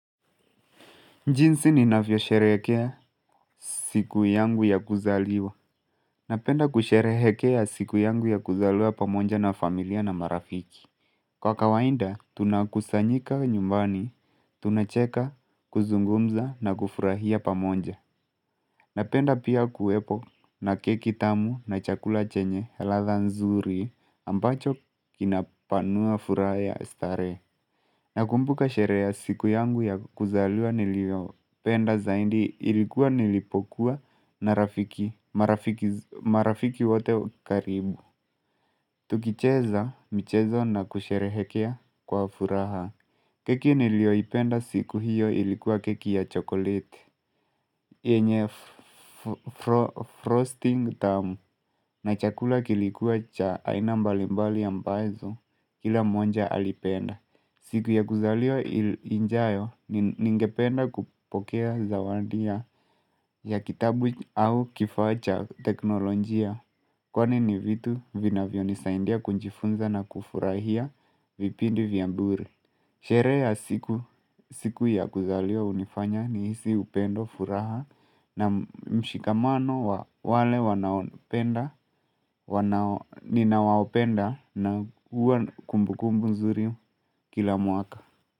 Jinsi ninafyo sherehekea siku yangu ya kuzaliwa. Napenda kusherehekea siku yangu ya kuzaliwa pamoja na familia na marafiki. Kwa kawainda, tunakusanyika nyumbani, tunacheka, kuzungumza na kufurahia pamoja. Napenda pia kuwepo na keki tamu na chakula chenye ladha nzuri ambacho kinapanua furaha ya starehe. Na kumbuka sherehe ya siku yangu ya kuzaliwa nilio penda zaindi ilikuwa nilipokuwa na marafiki wote karibu. Tukicheza mchezo na kusherehekea kwa furaha. Keki nilio ipenda siku hiyo ilikuwa keki ya chokoleti. Enye frosting tamu, na chakula kilikuwa cha aina mbalimbali ambazo kila mmoja alipenda. Siku ya kuzaliwa ijayo ningependa kupokea zawandia ya kitabu au kifaa cha teknolojia Kwani ni vitu vinavyo nisaindia kujifunza na kufurahia vipindi vya bure Sherehe ya siku ya kuzaliwa unifanya ni hisi upendo furaha na mshikamano wale ninawao wapenda na kumbukumbu nzuri kila muaka.